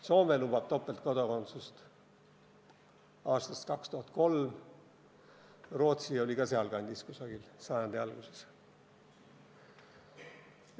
Soome on topeltkodakondsust lubanud aastast 2003, ka Rootsi kehtestas selle võimaluse kusagil sajandi alguses.